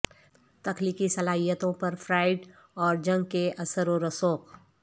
تخلیقی صلاحیتوں پر فرایڈ اور جنگ کے اثر و رسوخ